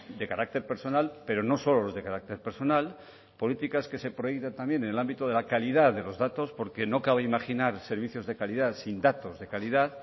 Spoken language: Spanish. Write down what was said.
de carácter personal pero no solo los de carácter personal políticas que se proyectan también en el ámbito de la calidad de los datos porque no cabe imaginar servicios de calidad sin datos de calidad